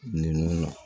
Nin nun na